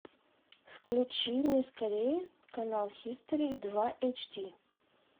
включи мне скорее канал хистори два эйч ди